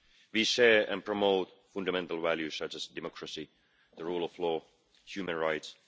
We share and promote fundamental values such as democracy, the rule of law and human rights.